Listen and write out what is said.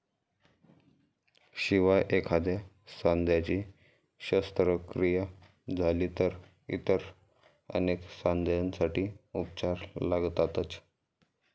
शिवाय एखाद्या सांध्याची शस्त्रक्रिया झाली तर इतर अनेक सांध्यांसाठी उपचार लागतातच.